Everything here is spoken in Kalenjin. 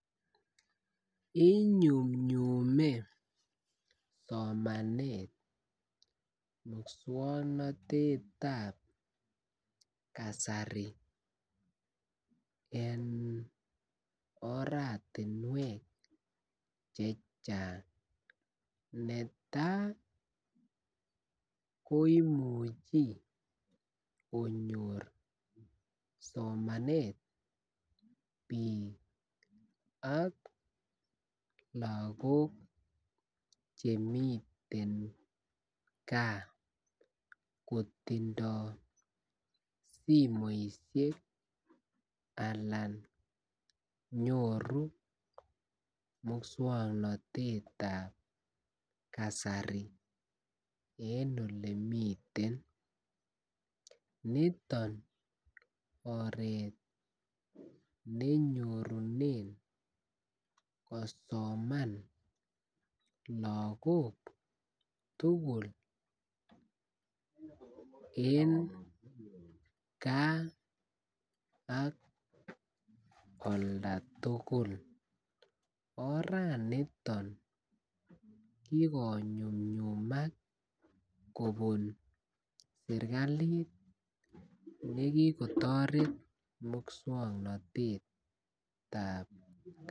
Inyumnyume somanet mukswoknotetab kasari eng oratinwek chechang neta ko imuche konyor somanet bik ak lagok chemiten gaa kotindo simoisiek anan nyoru muswoknotetab kasari eng ole miten niton oret ne nyorunen kosoman lagok tugul eng gaa ak oldatugul oraniton kikonyumnyumak kobuna serkalit nekikotoret muswoknotetab